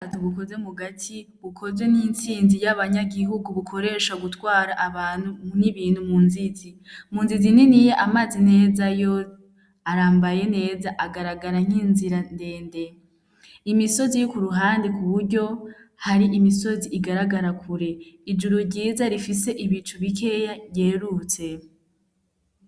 Ubwato bukoze mugati bukozwe n'intsinzi y'abanyagihugu bukoresha mugutwara abantu n'ibintu munzizi. Munzizi niniya amazi meza yo arambaye neza agaragara nk'inzira ndende. Imisozi iri kuruhande kuburyo hari imisozi igaragara kure. Ijuru ryiza rifise ibicu bikeya ryerutse.